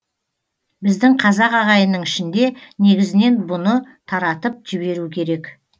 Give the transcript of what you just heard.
біздің қазақ ағайынның ішінде негізінен бұны таратып жіберу керек